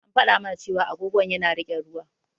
An faɗa mana cewa agogon yana riƙe ruwa.